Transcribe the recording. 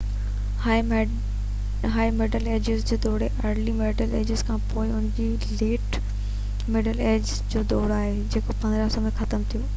هائي middle ages جو دور early middle ages کان پوءِ آهيو ۽ ان کان پوءِ ليٽ مڊل ايجز جو دور آهيو جيڪو 1500 ۾ ختم ٿيو